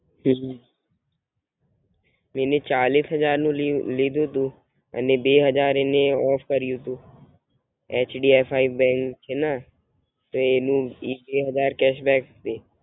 હમ પેલું ચાલીસ હાજર નું લીધું તું, અને બે હાજર એને ઓફ કર્યું તું, H D F C bank છે ને તો એનું બે હાજર કેસ છે.